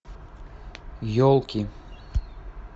елки